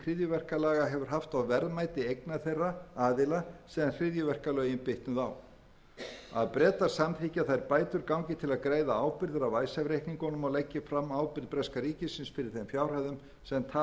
hryðjuverkalaga hefur haft á verðmæti eigna þeirra aðila sem hryðjuverkalögin bitnuðu á c bretar samþykki að þær bætur gangi til þess að greiða ábyrgðir af icesave reikningum og leggi fram ábyrgð breska ríkisins fyrir þeim upphæðum sem tapast hafa vegna beitingar hryðjuverkalaga